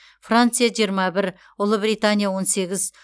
франция жиырма бір ұлыбритания он сегіз